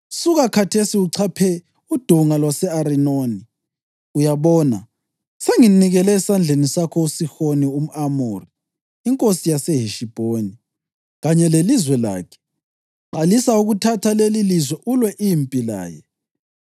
“ ‘Suka khathesi uchaphe uDonga lwase-Arinoni. Uyabona, senginikele esandleni sakho uSihoni umʼAmori inkosi yaseHeshibhoni kanye lelizwe lakhe. Qalisa ukuthatha lelilizwe ulwe impi laye.